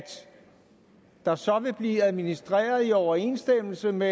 der så vil blive administreret i overensstemmelse med